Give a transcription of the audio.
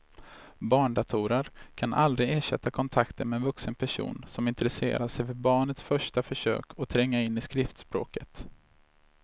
Barndatorer kan aldrig ersätta kontakten med en vuxen person som intresserar sig för barnets första försök att tränga in i skriftspråket.